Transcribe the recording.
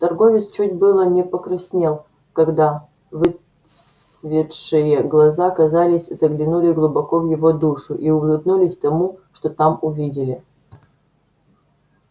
торговец чуть было не покраснел когда выцветшие глаза казалось заглянули глубоко в его душу и улыбнулись тому что там увидели